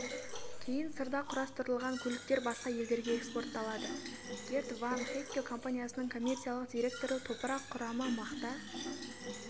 кейін сырда құрастырылған көліктер басқа елдерге экспортталады герт ван хэкке компаниясының коммерциялық директоры топырақ құрамы мақта